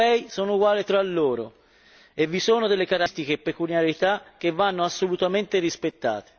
Non tutti i paesi europei sono uguali tra loro vi sono delle caratteristiche e peculiarità che vanno assolutamente rispettate!